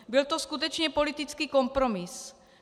Byl to skutečně politický kompromis.